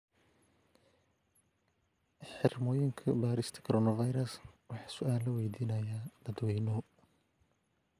Xirmooyinka baarista Coronavirus waxaa su'aalo weydiinaya dadweynuhu.